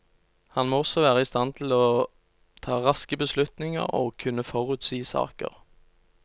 Han må også være i stand til å ta raske beslutninger og kunne forutsi saker.